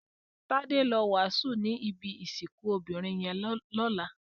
Tade ló wásùn ni ibi isikùn óbirin yèn lòlá